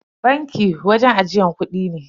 Banki wajen ajiyar kudi ne.